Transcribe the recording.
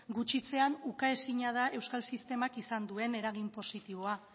gutxitzean ukaezina da euskal sistemak izan duen eragin positiboa